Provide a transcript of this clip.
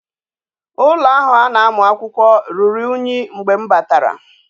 Ulo ahu a na amu akwukwo ruru unyi mgbe m batara